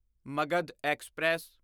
Magadh express